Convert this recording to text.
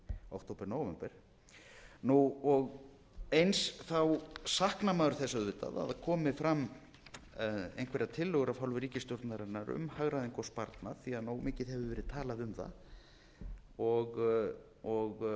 október nóvember eins raunar maður þess auðvitað að það komi fram einhverjar tillögur af hálfu ríkisstjórnarinnar um hagræðingu og sparnað því að nógu mikið hefur verið talað um það það